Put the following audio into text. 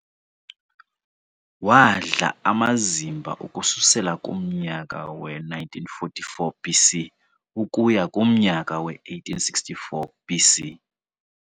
Wadla amazimba ukususela kumnyaka we-1944 BC ukuya kumnyama we-1864 BC.